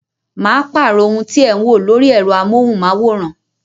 Ma pàrọ̀ ohun tí ẹ ń wò lórí ẹ̀rọ amóhùn máwòrán